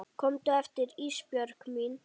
Komdu aftur Ísbjörg mín.